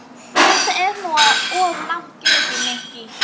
Þetta er nú of langt gengið, Nikki.